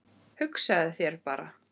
Hugsaðu þér bara!